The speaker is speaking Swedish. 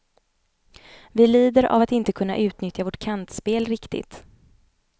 Vi lider av att inte kunna utnyttja vårt kantspel riktigt.